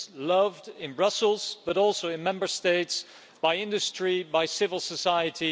It's loved in Brussels, but also in the Member States by industry and by civil society.